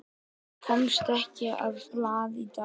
Hann komst ekki á blað í dag.